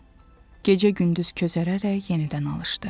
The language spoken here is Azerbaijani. Gecə-gündüz közərərək yenidən alışdı.